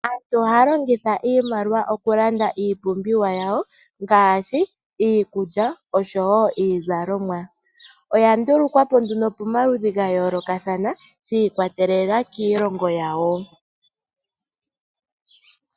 Aantu ohaya longitha iimaliwa oku landa iipumbiwa yawo , ngashi iikulya osho wo iizalomwa. Oya ndulukwapo nduno pomaludhi ga yoolokathana, shiikwatelela kiilongo yawo.